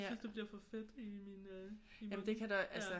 Jeg synes det bliver for fedt i min øh i munden